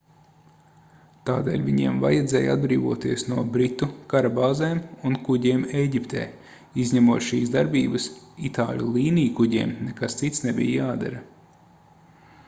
tādēļ viņiem vajadzēja atbrīvoties no britu karabāzēm un kuģiem ēģiptē izņemot šīs darbības itāļu līnijkuģiem nekas cits nebija jādara